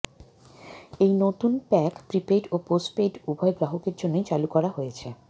এই নতুন pack prepaid ও পোষ্টপেইড উভয় গ্রাহকের জন্যই চালু করা হয়েছে